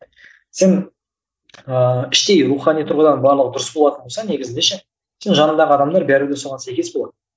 сен ыыы іштей рухани тұрғыдан барлығы дұрыс болатын болса негізінде ше сен жаныңдағы адамдар бәрі де соған сәйкес болады